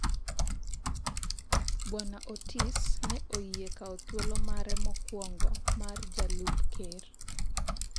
Bwana Otis ne oyie kawo thuolo mare mokwongo mar jalup ker ,